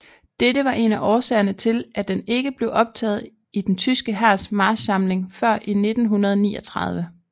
Dette var en af årsagerne til at den ikke blev optaget i den tyske hærs marchsamling før i 1939